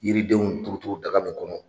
Yiridenw turuturu daga min kɔnɔ.